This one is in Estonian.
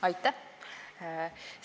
Aitäh!